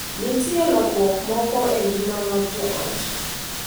Nitie lokruok moko e ngima mar jo ot